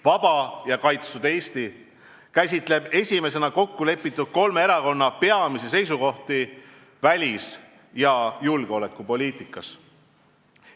Vaba ja kaitstud Eesti kätkeb esimesena kokku lepitud kolme erakonna peamisi seisukohti välis- ja julgeolekupoliitikas.